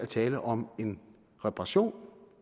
tale om en reparation